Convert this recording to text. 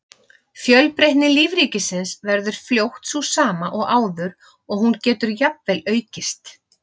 Fjölbreytni lífríkisins verður fljótt sú sama og áður og hún getur jafnvel aukist.